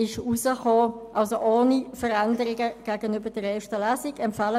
Somit empfehlen wir Ihnen, das Gesetz ohne Veränderungen zur ersten Lesung anzunehmen.